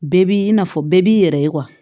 Bɛɛ b'i i n'a fɔ bɛɛ b'i yɛrɛ ye